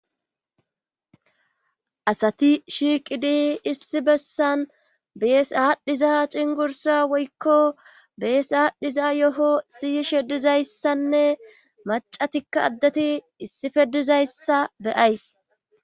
asati shiiqidi issi bessan bees aadhdhiza cingursa woykko bees aadhdhiza yoho siy shedizayssanne macatikka addati issi feddizayssa beyays